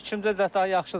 Məncə fikrimcə daha yaxşıdır.